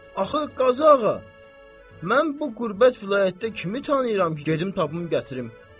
Axı Qazı ağa, mən bu qürbət vilayətdə kimi tanıyıram ki, gedim tapım gətirim.